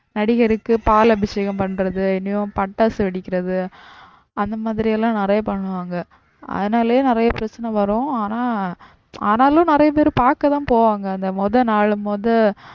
நடிகருக்கு பால் அபிஷேகம் பண்றது இன்னும் பட்டாசு வெடிக்கிறது அந்த மாதிரிலாம் நிறைய பண்ணுவாங்க அதுனாலயே நிறைய பிரச்சனை வரும் ஆனா ஆனாலும் நிறைய பேரு பாக்கதான் போவாங்க. அந்த முத நாள் முத